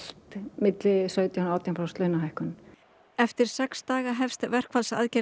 milli sautján og átján prósent launahækkun eftir sex daga hefst